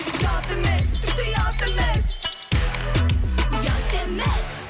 ұят емес тіпті ұят емес ұят емес